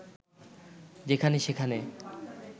যেখানে-সেখানে